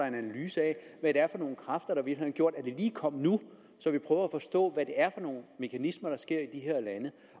en analyse af hvad det er for nogle kræfter der har gjort at det lige kom nu så vi prøver at forstå hvad det er for nogle mekanismer der sker i de her lande